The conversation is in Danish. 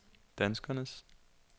danskernes